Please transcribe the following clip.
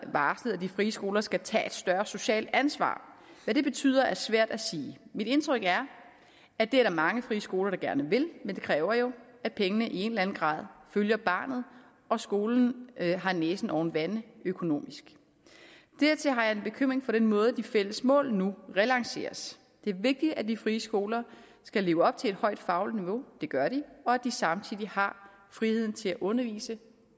varslet at de frie skoler skal tage et større socialt ansvar hvad det betyder er svært at sige mit indtryk er at det er der mange friskoler der gerne vil men det kræver jo at pengene i en eller anden grad følger barnet og at skolen har næsen oven vande økonomisk dertil har jeg en bekymring for den måde de fælles mål nu relanceres det er vigtigt at de frie skoler skal leve op til et højt fagligt niveau det gør de og at de samtidig har friheden til at undervise